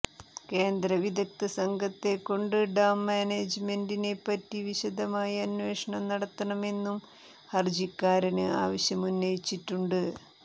കേന്ദ്ര വിദഗ്ധസംഘത്തെക്കൊണ്ട് ഡാം മാനേജ്മെന്റിനെപ്പറ്റി വിശദമായ അന്വേഷണം നടത്തണമെന്നും ഹര്ജിക്കാരന് ആവശ്യമുന്നയിച്ചിട്ടുണ്ട്